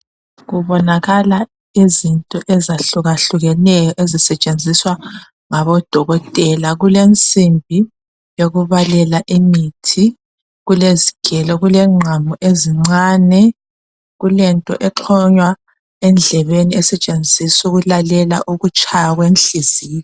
Kubonakala izinto ezahlukehlakuneyo ezisetshenziswa ngabodokotela kulemsimbi ekubalela imithi kulezigero kuleqhamu ezincane kulento ekhanya endlebebeni esetshenziswa ukulalela ukutshaya kwenhliziyo.